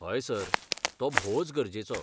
हय. सर. तो भोवच गरजेचो.